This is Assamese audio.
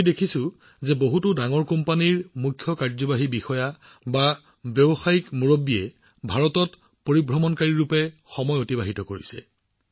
আমি দেখিছোঁ যে বহুতো ডাঙৰ কোম্পানীৰ মুখ্য কাৰ্যবাহী বিষয়া ব্যৱসায়িক নেতাসকলে বেকপেকাৰ হিচাপে ভাৰতত সময় অতিবাহিত কৰিছে